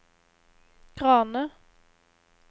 Grane